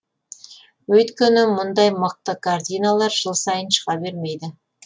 өйткені мұндай мықты картиналар жыл сайын шыға бермейді